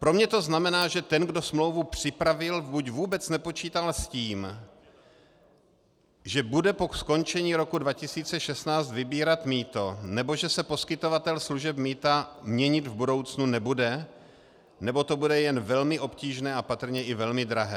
Pro mě to znamená, že ten, kdo smlouvu připravil, buď vůbec nepočítal s tím, že bude po skončení roku 2016 vybírat mýto, nebo že se poskytovatel služeb mýta měnit v budoucnu nebude, nebo to bude jen velmi obtížné a patrně i velmi drahé.